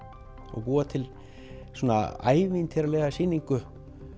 og búa til svona ævintýralega sýningu